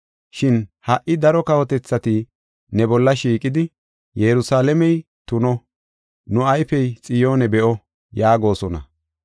Shin ha77i daro kawotethati ne bolla shiiqidi, “Yerusalaamey tuno; nu ayfey Xiyoone be7o” yaagosona.